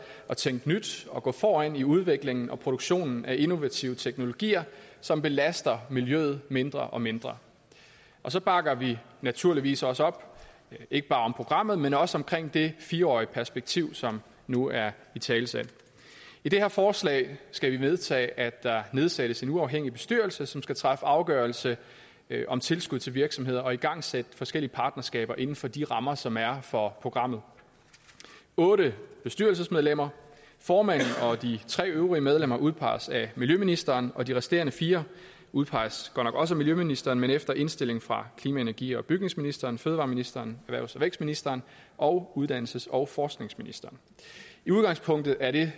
at tænke nyt og gå foran i udviklingen og produktionen af innovative teknologier som belaster miljøet mindre og mindre og så bakker vi naturligvis også op ikke bare om programmet men også om det fire årige perspektiv som nu er italesat i det her forslag skal vi vedtage at der nedsættes en uafhængig bestyrelse som skal træffe afgørelse om tilskud til virksomheder og igangsætte forskellige partnerskaber inden for de rammer som er for programmet otte bestyrelsesmedlemmer formanden og de tre øvrige medlemmer udpeges af miljøministeren og de resterende fire udpeges godt nok også af miljøministeren men efter indstilling fra klima energi og bygningsministeren fødevareministeren erhvervs og vækstministeren og uddannelses og forskningsministeren i udgangspunktet er det